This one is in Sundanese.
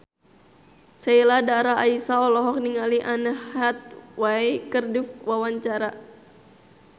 Sheila Dara Aisha olohok ningali Anne Hathaway keur diwawancara